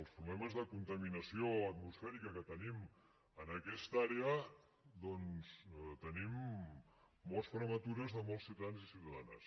els problemes de contaminació atmosfèrica que tenim en aquesta àrea doncs tenim morts prematures de molts ciutadans i ciutadanes